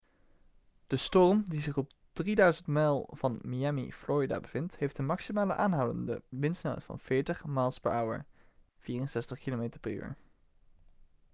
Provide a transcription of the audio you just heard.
de storm die zich op ongeveer 3.000 mijl van miami florida bevindt heeft een maximale aanhoudende windsnelheid van 40 mph 64 km/u